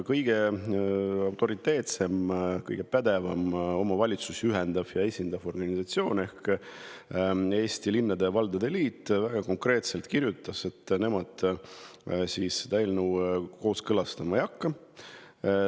Kõige autoriteetsem ja kõige pädevam omavalitsusi ühendav ja esindav organisatsioon ehk Eesti Linnade ja Valdade Liit kirjutas väga konkreetselt, et nemad seda eelnõu kooskõlastama ei hakka.